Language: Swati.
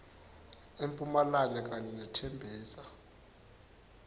empumalanga kanye nethembisa